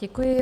Děkuji.